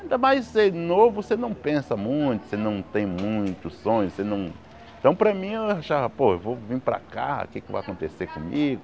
Ainda mais sendo novo, você não pensa muito, você não tem muitos sonhos, você não... Então para mim eu achava, pô, eu vim para cá, o que é que vai acontecer comigo?